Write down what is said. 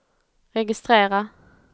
registrera